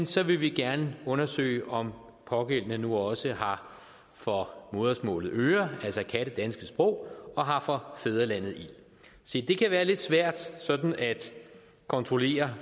så vil vi gerne undersøge om pågældende nu også har for modersmålet øre altså kan det danske sprog og har for fædrelandet ild se det kan være lidt svært sådan at kontrollere